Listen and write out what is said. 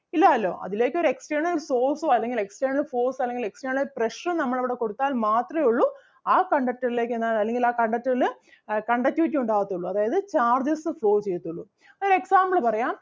ഇല്ലാല്ലോ അതിലേക്ക് ഒരു external source ഓ അല്ലെങ്കിൽ external force ഓ അല്ലെങ്കിൽ external pressure ഉം നമ്മൾ അവിടെ കൊടുത്താൽ മാത്രേ ഒള്ളൂ ആ conductor ലേക്ക് എന്താണ് അല്ലെങ്കിൽ ആ conductor ല് അഹ് conductvity ഉണ്ടാകത്തൊള്ളു അതായത് charges flow ചെയ്യത്തൊള്ളു. ഒര് example പറയാം,